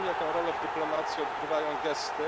Wiem, jaką rolę w dyplomacji odgrywają gesty.